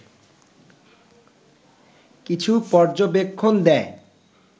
কিছু পর্যবেক্ষণ দেয়